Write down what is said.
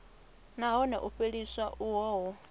nahone u fheliswa uho hu